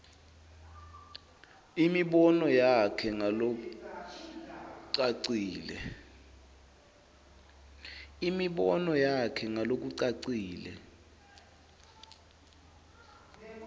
imibono yakhe ngalokucacile